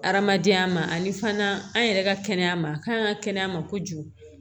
Hadamadenya ma ani fana an yɛrɛ ka kɛnɛya ma kan ka kɛnɛya ma kojugu